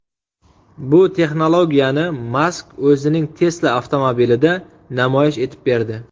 Bu texnologiyani Mask o‘zining Tesla avtomobilida namoyish etib berdi.